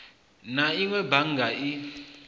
na inwe a bannga i